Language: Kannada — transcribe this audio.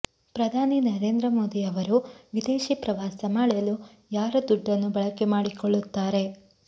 ಪ್ರಧಾನಿ ನರೇಂದ್ರ ಮೋದಿ ಅವರು ವಿದೇಶಿ ಪ್ರವಾಸ ಮಾಡಲು ಯಾರ ದುಡ್ಡನ್ನು ಬಳಕೆ ಮಾಡಿಕೊಳ್ಳುತ್ತಾರೆ